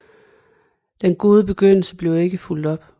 Den gode begyndelse blev ikke fulgt op